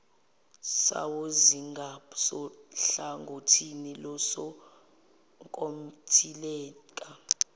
sawo zingasohlangothini losonkontileka